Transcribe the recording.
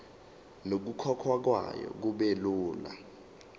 nokukhokhwa kwayo kubelula